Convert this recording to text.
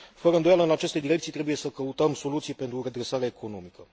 Fără îndoială, în aceste direcții trebuie să căutăm soluții pentru redresarea economică.